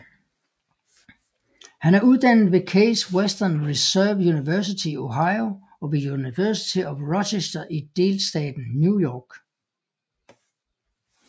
Han er uddannet ved Case Western Reserve University i Ohio og ved University of Rochester i delstaten New York